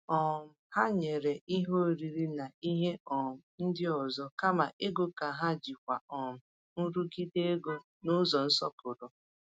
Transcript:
um Ha nyere ihe oriri na ihe um ndị ọzọ kama ego ka ha jikwaa um nrụgide ego n’ụzọ nsọpụrụ.